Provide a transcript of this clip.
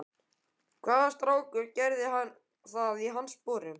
Hvaða strákur gerði það í hans sporum?